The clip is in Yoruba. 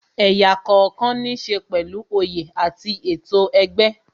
Ẹ̀yà kookan ní ṣe pẹ̀lú oyè àti ètò ẹgbẹ́